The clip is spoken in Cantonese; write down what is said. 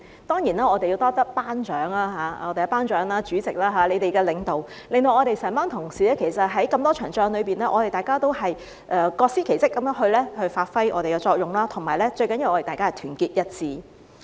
當然，我們要多謝"班長"，在我們"班長"和主席的領導之下，我們這些同事在那麼多場仗裏面，大家也各司其職地發揮自己的作用，而最重要的，是大家團結一致。